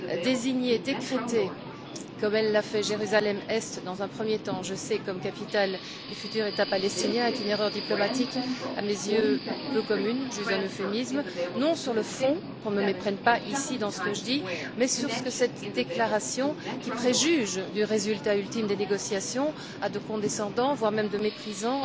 Désigner, décréter, comme elle l'a fait, Jérusalem Est dans un premier temps, je sais comme capitale du futur État palestinien est une erreur diplomatique à mes yeux peu commune j'use d'un euphémisme non sur le fond qu'on ne se méprenne pas ici sur ce que je dis mais sur ce que cette déclaration, qui préjuge du résultat ultime des négociations, a de condescendant, voire de méprisant,